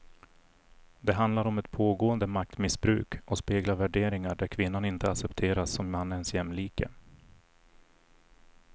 Det handlar om ett pågående maktmissbruk och speglar värderingar där kvinnan inte accepteras som mannens jämlike.